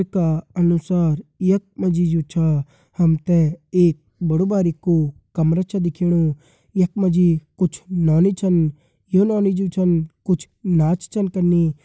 ये का अनुसार यख मा जी जू छ हम ते एक बड़ू बरिकू कमरा छ दिखेणु यख मा जी कुछ नौनी छन ये नौनी जू छन कुछ नाच छन कनी।